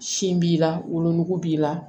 Sin b'i la wolonugu b'i la